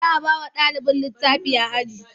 Za bawa ɗalin litafi a aji